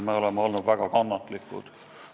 Me oleme olnud väga kannatlikud.